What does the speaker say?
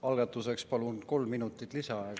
Algatuseks palun kolm minutit lisaaega.